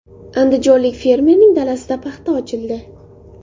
Andijonlik fermerning dalasida paxta ochildi.